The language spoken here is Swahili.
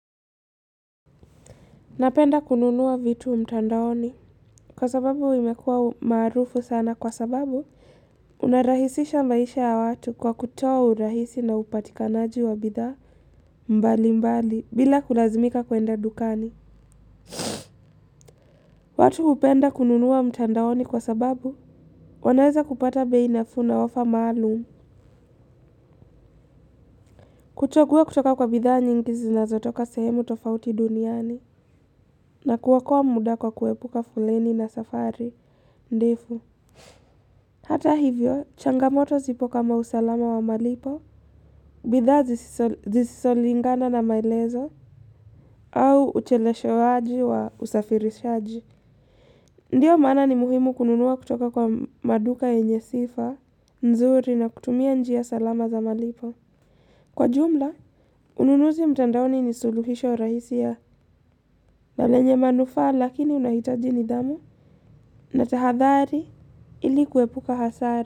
Napenda kununua vitu mtandaoni. Kwa sababu imekuwa maarufu sana kwa sababu, unarahisisha maisha ya watu kwa kutoa urahisi na upatikanaji wa bidhaa mbali mbali bila kulazimika kuenda dukani. Watu hupenda kununua mtandaoni kwa sababu, wanaweza kupata bei nafuu na ofa maalumu. Kuchagua kutoka kwa bidhaa nyingi zinazotoka sehemu tofauti duniani. Na kuokoa muda kwa kuepuka foleni na safari, ndefu. Hata hivyo, changamoto zipo kama usalama wa malipo, bidhaa zisizolingana na maelezo, au ucheleweshwaji wa usafirishaji. Ndiyo maana ni muhimu kununua kutoka kwa maduka yenye sifa, nzuri na kutumia njia salama za malipo. Kwa jumla, ununuzi mtandaoni ni suluhisho rahisi ya lenye manufaa lakini unahitaji nidhamu na tahadhari ili kuepuka hasara.